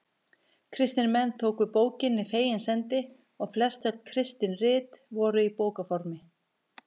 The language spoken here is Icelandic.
Kristnir menn tóku bókinni fegins hendi og flest öll kristin rit voru í bókarformi.